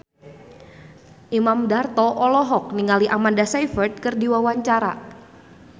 Imam Darto olohok ningali Amanda Sayfried keur diwawancara